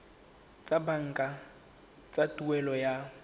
tsa banka tsa tuelo ya